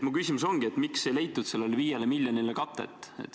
Mu küsimus ongi: miks ei leitud sellele 5 miljonile katet?